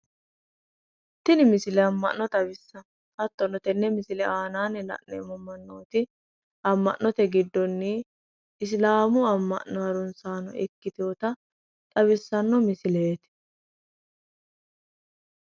Tini misile amma'no xawissanno hattono tenne misile aanaanni la'nemmo mannooti ama'note giddonni isilaamu amma'no harunsaano ikkitinota xawissanno misileeti